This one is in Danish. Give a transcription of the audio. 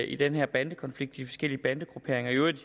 i den her bandekonflikt med de forskellige bandegrupperinger i øvrigt